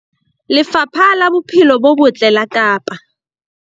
Lefapha la Bophelo bo Botle la Kapa